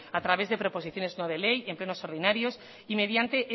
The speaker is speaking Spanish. a través de proposiciones no de ley en plenos ordinarios y mediante